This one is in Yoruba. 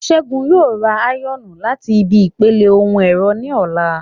Ṣẹ́gun yóò ra áyọ̀nù láti ibi ìpele ohun ẹ̀rọ ní ọ̀la